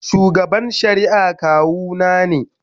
Shugaban shari'a kawuna ne.